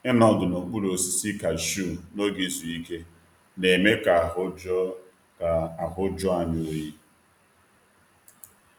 Ịnọdụ n’okpuru osisi kashiu n’oge izu ike na-eme ka ahụ jụọ ka ahụ jụọ anyị oyi.